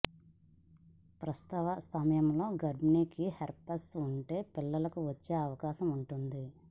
ప్రసవ సమయంలో గర్భిణికి హెర్పిస్ ఉంటే పిల్లలకు వచ్చే అవకాశం ఉంటుంది